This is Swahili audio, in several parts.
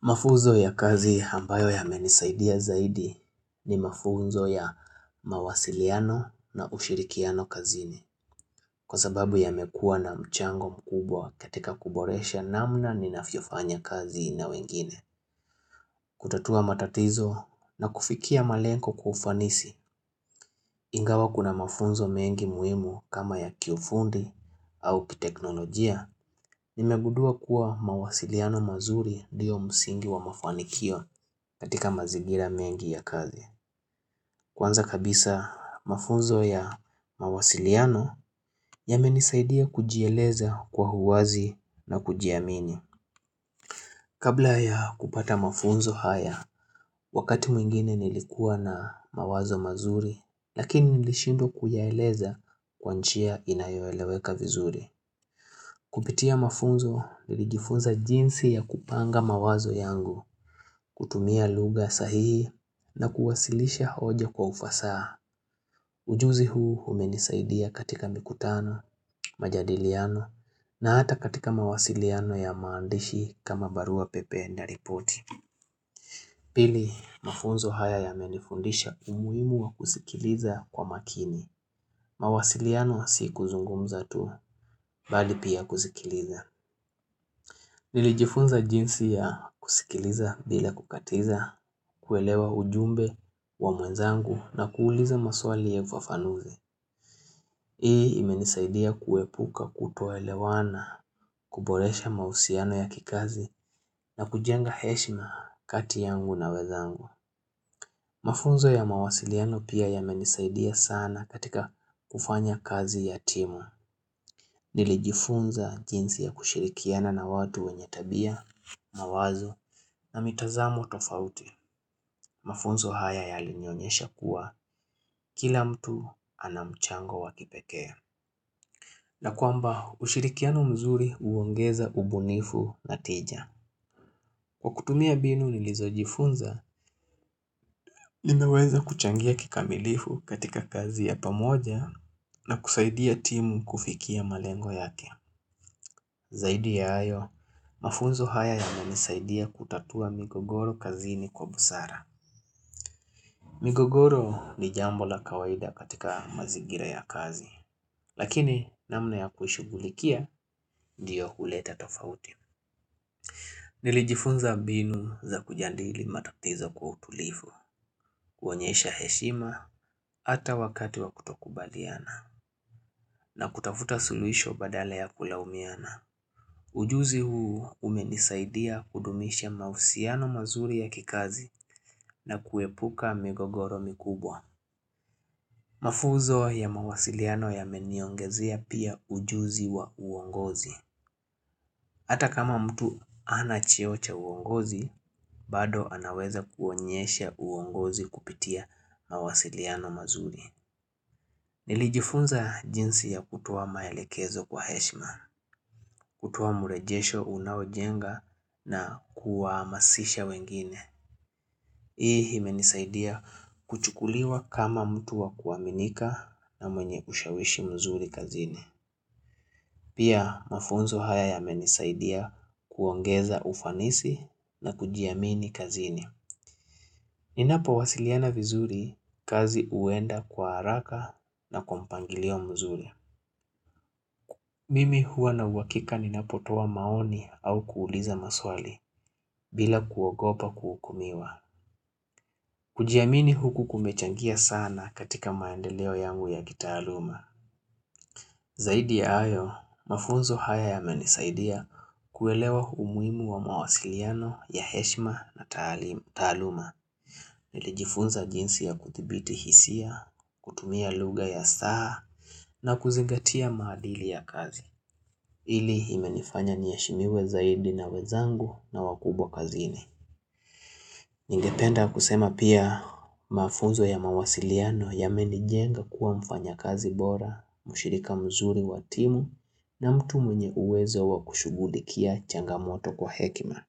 Mafuzo ya kazi hambayo ya menisaidia zaidi ni mafunzo ya mawasiliano na ushirikiano kazini Kwa sababu ya mekua na mchango mkubwa katika kuboresha namna ni nafiofanya kazi na wengine kutatua matatizo na kufikia malenko kufanisi. Ingawa kuna mafunzo mengi muimu kama ya kiofundi au kiteknolojia. Nimegudua kuwa mawasiliano mazuri diyo msingi wa mafanikio katika mazigira mengi ya kazi Kwanza kabisa mafunzo ya mawasiliano. Yame nisaidia kujieleza kwa huwazi na kujiamini. Kabla ya kupata mafunzo haya Wakati mwingine nilikuwa na mawazo mazuri Lakini nilishindo kuyaeleza kwanchia inayoeleweka vizuri. Kupitia mafunzo nilijifunza jinsi ya kupanga mawazo yangu. Kutumia luga sahihi na kuwasilisha hoja kwa ufasaha. Ujuzi huu umenisaidia katika mikutano, majadiliano. Na hata katika mawasiliano ya maandishi kama barua pepe ndaripoti. Pili, mafunzo haya ya menifundisha umuimu wa kusikiliza kwa makini, mawasiliano si kuzungumza tu, bali pia kusikiliza. Nilijifunza jinsi ya kusikiliza bila kukatiza. Kuelewa ujumbe wa mwenzangu na kuuliza maswali ya vafanuzi. Hii imenisaidia kuepuka kutoelewana, kuboresha mausiano ya kikazi na kujenga heshima kati yangu na wezangu. Mafunzo ya mawasiliano pia ya menisaidia sana katika kufanya kazi ya timu. Nili jifunza jinsi ya kushirikiana na watu wenye tabia, mawazo na mitazamu tofauti Mafunzo haya ya alinyonyesha kuwa kila mtu anamchango wakipekea. Na kwamba ushirikiano mzuri uongeza ubunifu na tija. Kwa kutumia binu nilizojifunza, nimeweza kuchangia kikamilifu katika kazi ya pamoja na kusaidia timu kufikia malengo yake. Zaidi ya ayo, mafunzo haya ya manisaidia kutatua migogoro kazini kwa busara. Migogoro ni jambo la kawaida katika mazigira ya kazi. Lakini namna ya kushugulikia diyo huleta tofauti. Nilijifunza binu za kujandili matuktizo kwa utulifu. Kuonyesha heshima ata wakati wa kutokubaliana. Na kutafuta sulwisho badale ya kulaumiana. Ujuzi huu umenisaidia kudumisha mausiano mazuri ya kikazi na kuepuka migogoro mikubwa. Mafuzo ya mawasiliano yameniongezea pia ujuzi wa uongozi. Hata kama mtu anachiocha uongozi, bado anaweza kuonyesha uongozi kupitia mawasiliano mazuri. Nilijifunza jinsi ya kutuwa maelekezo kwa heshma, kutuwa murejesho unaojenga na kuamasisha wengine. Hii imenisaidia kuchukuliwa kama mtu wa kuaminika na mwenye kushawishi mzuri kazini. Pia mafunzo haya yamenisaidia kuongeza ufanisi na kujiamini kazini. Ninapo wasiliana vizuri kazi uenda kwa haraka na kompangilio mzuri. Mimi huwa na uwakika ninapotowa maoni au kuuliza maswali bila kuogopa kuukumiwa. Kujiamini huku kumechangia sana katika maendeleo yangu ya gitaluma. Zaidi ya ayo, mafunzo haya yamenisaidia kuelewa humuimu wa mawasiliano ya heshma na taluma. Nilijifunza jinsi ya kuthibiti hisia, kutumia luga ya saha na kuzingatia maadili ya kazi. Ili imenifanya nieshimiwe zaidi na wezangu na wakubwa kazini. Ningependa kusema pia mafunzo ya mawasiliano yamenijenga kuwa mfanya kazi bora, mushirika mzuri wa timu na mtu mwenye uwezo wa kushugulikia changamoto kwa hekima.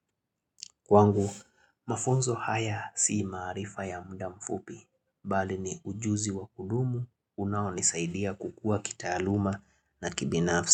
Kwangu, mafunzo haya sii maarifa ya mda mfupi, bali ni ujuzi wa kudumu, unaonisaidia kukua kitaaluma na kibinafsi.